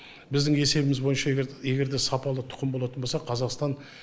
біздің есебіміз бойынша егер егер де сапалы тұқым болатын болса қазақстан